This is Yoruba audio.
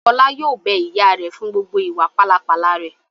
Fọlá yóò bẹ ìyá rẹ̀ fún gbogbo ìwà pálapàla rẹ̀!